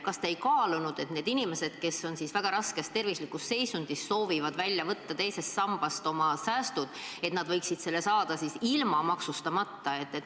Kas te ei kaalunud võimalust, et kui need inimesed, kes on väga raskes tervislikus seisundis, soovivad välja võtta teisest sambast oma säästud, siis nad võiksid selle saada ilma maksustamata?